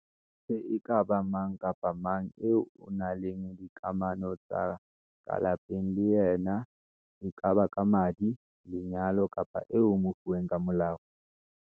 sang e ka ba mang kapa mang eo o nang le dikamano tsa ka lapeng le yena e kaba ka madi, lenyalo kapa eo o mofuweng ka molao.